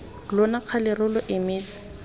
lona kgale re lo emetse